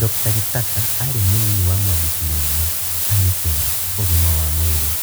Dr. Gitaka arĩ mũnini wa mwandĩki mũnene TAMISEMI (Ũgima wa Mwĩrĩ).